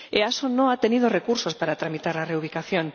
La EASO no ha tenido recursos para tramitar la reubicación.